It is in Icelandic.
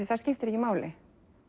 það skiptir ekki máli